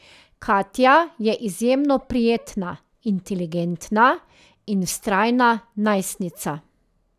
Katja je izjemno prijetna, inteligentna in vztrajna najstnica.